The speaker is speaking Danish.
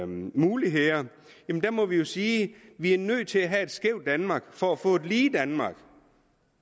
muligheder der må vi jo sige at vi er nødt til at have et skævt danmark for at få et lige danmark